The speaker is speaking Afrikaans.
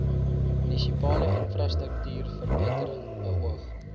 munisipale infrastruktuurverbetering beoog